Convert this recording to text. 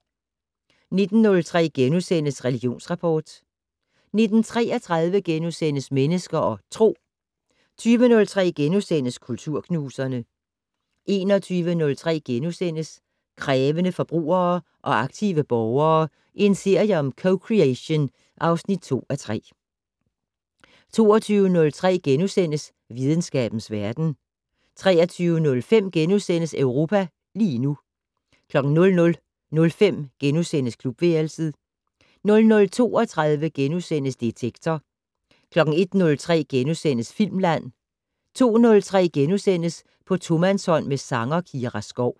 19:03: Religionsrapport * 19:33: Mennesker og Tro * 20:03: Kulturknuserne * 21:03: Krævende forbrugere og aktive borgere - en serie om co-creation (2:3)* 22:03: Videnskabens verden * 23:05: Europa lige nu * 00:05: Klubværelset * 00:32: Detektor * 01:03: Filmland * 02:03: På tomandshånd med sanger Kira Skov *